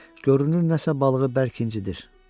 Görünür nəsə balığı bərk incidir.